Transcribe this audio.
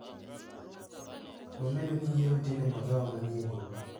Nomedo ni yiero tin e magawa manie boma.